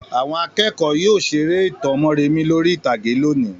Àwọn akẹ́kọ̀ọ́ máa yóò seré ìtàn Mórèmí lórí ìtàgé lónìí.